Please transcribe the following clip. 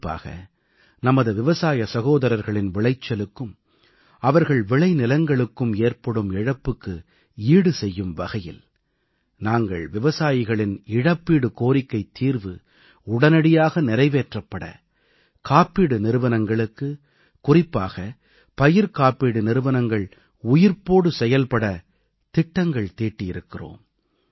குறிப்பாக நமது விவசாய சகோதரர்களின் விளைச்சலுக்கும் அவர்கள் விளைநிலங்களுக்கும் ஏற்படும் இழப்புக்கு ஈடுசெய்யும் வகையில் நாங்கள் விவசாயிகளின் இழப்பீடு கோரிக்கைத் தீர்வு உடனடியாக நிறைவேற்றப்பட காப்பீடு நிறுவனங்களுக்கு குறிப்பாக பயிர் காப்பீடு நிறுவனங்கள் உயிர்ப்போடு செயல்படத் திட்டங்கள் தீட்டியிருக்கிறோம்